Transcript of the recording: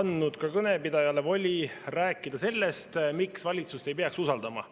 andnud ka kõnepidajale voli rääkida sellest, miks valitsust ei peaks usaldama.